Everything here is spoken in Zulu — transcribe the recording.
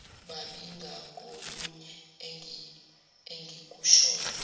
babi ngakolunye engikushoyo